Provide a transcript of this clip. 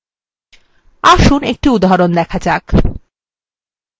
আসুন একটি উদাহরণ দেখা যাক